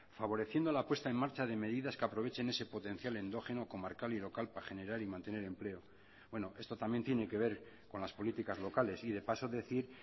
favoreciendo la puesta en marcha de medidas que aprovechen ese potencial endógeno comarcal y local para generar y mantener empleo bueno esto también tiene que ver con las políticas locales y de paso decir